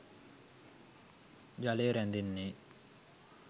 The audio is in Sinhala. ජලය රැඳෙන්නේ